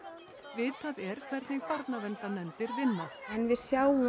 vitað er hvernig barnaverndarnefndir vinna en við sjáum